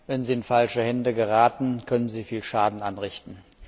Wenn sie in falsche Hände geraten, können sie viel Schaden anrichten.